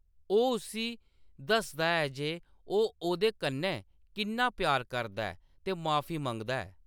ओह्‌‌ उस्सी दसदा ऐ जे ओह्‌‌ ओह्‌‌‌दे कन्नै किन्ना प्यार करदा ऐ ते माफी मंगदा ऐ